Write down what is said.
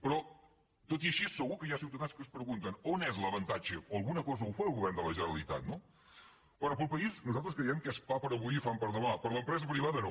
però tot i així segur que hi ha ciutadans que es pregunten on és l’avantatge o per alguna cosa ho fa el govern de la generalitat no bé pel país nosaltres creiem que és pa per a avui i fam per a demà per l’empresa privada no